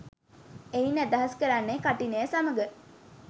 එයින් අදහස් කරන්නේ කඨිනය සමඟ